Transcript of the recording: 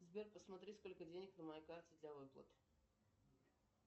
сбер посмотри сколько денег на моей карте для выплат